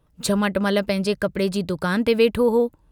झमटमल पंहिंजे कपिड़े जी दुकान ते वेठो हो।